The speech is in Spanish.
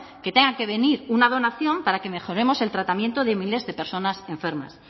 que tenga que venir una donación para que mejoremos el tratamiento de miles de personas enfermas